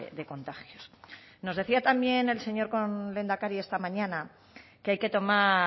de contagios nos decía también el señor lehendakari esta mañana que hay que tomar